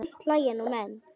Samt hlæja nú menn.